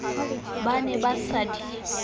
ba ne ba sa di